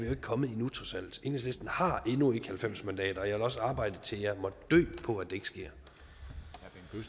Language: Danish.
ikke kommet endnu enhedslisten har endnu ikke halvfems mandater og jeg vil også arbejde til jeg måtte dø for at